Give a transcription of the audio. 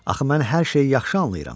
Axı mən hər şeyi yaxşı anlayıram.